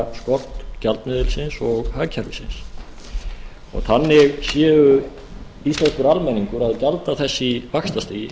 trúverðugleikaskort gjaldmiðilsins og hagkerfisins þannig sé íslenskur almenningur að gjalda þess í vaxtastigi